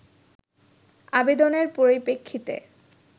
আবেদনের পরিপ্রেক্ষিতে